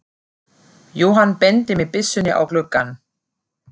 Jóhann benti með byssunni á gluggann.